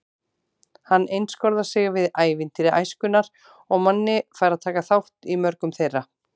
Hann einskorðar sig við ævintýri æskunnar og Manni fær að taka þátt í mörgum þeirra.